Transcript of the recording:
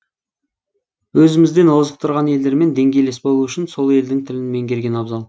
өзімізден озық тұрған елдермен деңгейлес болу үшін сол елдің тілін меңгерген абзал